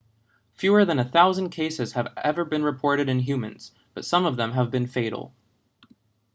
fewer than a thousand cases have ever been reported in humans but some of them have been fatal